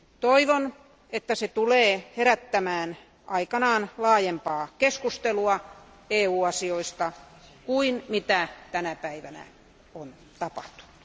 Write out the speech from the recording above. Toivon, että se tulee herättämään aikanaan laajempaa keskustelua EU asioista kuin, mitä tänä päivänä on tapahtunut.